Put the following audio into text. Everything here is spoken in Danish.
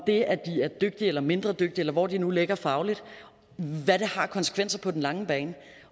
det at de er dygtige eller mindre dygtige eller hvor de nu ligger fagligt har af konsekvenser på den lange bane